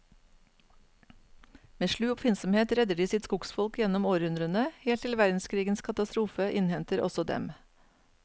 Med slu oppfinnsomhet redder de sitt skogsfolk gjennom århundrene, helt til verdenskrigens katastrofe innhenter også dem.